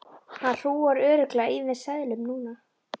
Hann hrúgar örugglega í mig seðlum núna.